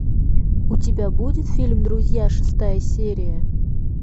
у тебя будет фильм друзья шестая серия